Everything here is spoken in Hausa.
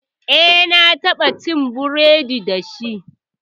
Eh, na taɓa ci burodi dashi.